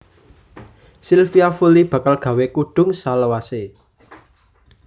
Silvia Fully bakal gawe kudung selawase